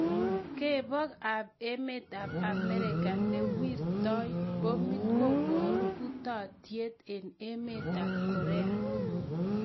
Kebok ap emet ap america newirtooi poomit, kobooru utaatyeet eng' emet ap korea